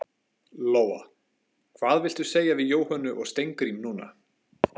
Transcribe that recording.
Lóa: Hvað viltu segja við Jóhönnu og Steingrím núna?